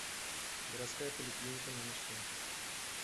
городская поликлиника номер семь